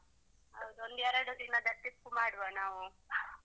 ಹೌದು ಒಂದು ಎರಡು ದಿನದ trip ಮಾಡುವ ನಾವು.